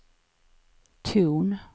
ton